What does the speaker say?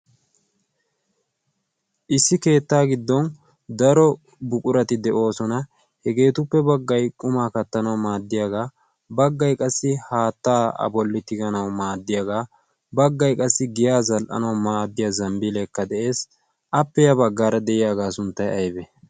issi keettaa giddon daro buqurati de'oosona. hegeetuppe baggay qumaa kattanawu maaddiyaagaa baggai qassi haattaa a bollitiganau maaddiyaagaa baggai qassi giya zal'anau maaddiya zambbiileekka de'ees. appeyaa baggaara de'iyaagaa sunttay aybe